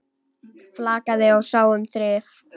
Flakaði og sá um þrif.